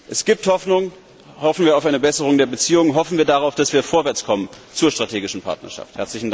Es gibt Hoffnung hoffen wir auf eine Besserung der Beziehungen, hoffen wir darauf, dass wir vorwärts kommen zur strategischen Partnerschaft!